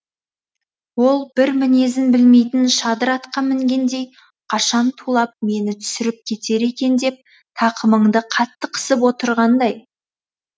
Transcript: ол бір мінезін білмейтін шадыр атқа мінгендей қашан тулап мені түсіріп кетер екен деп тақымыңды қатты қысып отырғандай